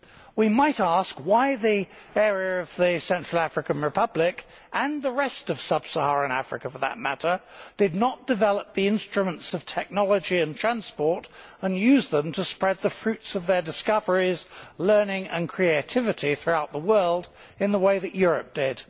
We might ask why the area of the Central African Republic, and the rest of sub Saharan Africa for that matter, did not develop the instruments of technology and transport and use them to spread the fruits of their discoveries, learning and creativity throughout the world in the way that Europe did.